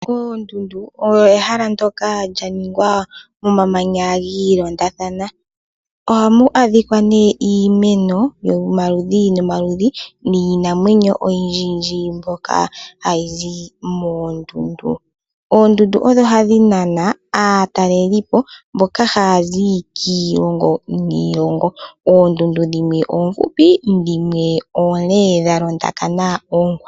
Oondundu odho ehala ndyoka lyaningwa momamanya giilondathana. Ohamu adhikwa iimeno yomaludhi nomaludhi niinamwenyo oyindjiyindji mbyoka hayi zi moondundu. Oondundu odho hadhi nana aatalelipo mboka haya zi kiilongo niilongo. Oondundu dhimwe oomfupi , dhimwe oonde dha londakana oonkwawo.